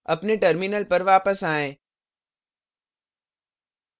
अपने terminal पर वापस आएँ